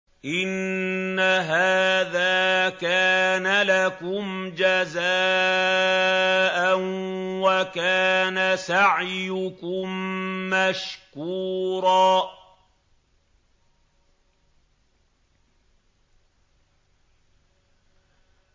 إِنَّ هَٰذَا كَانَ لَكُمْ جَزَاءً وَكَانَ سَعْيُكُم مَّشْكُورًا